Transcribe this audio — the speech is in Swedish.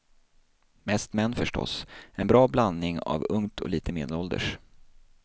Mest män förstås, en bra blandning av ungt och lite medelålders.